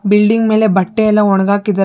building ಮೇಲೆ ಬಟ್ಟೆ ಎಲ್ಲ ಒಣಗಾಕಿದ್ದ--